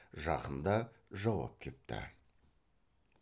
жақында жауап кепті